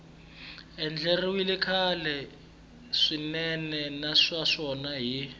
andlariwile kahle swinene naswona hi